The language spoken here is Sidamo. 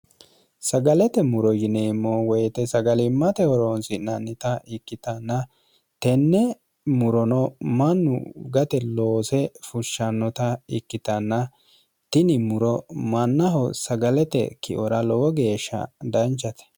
sagalete muro yineemmo woyite sagalimmatehoroontsi'nannita ikkitanna tenne murono mannu gate loose fushshannota ikkitanna tini muro mannaho sagalete kiora lowo geeshsha danchate